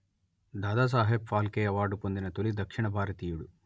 Dadasaheb Phalke award పొందిన తొలి దక్షిణ భారతీయుడు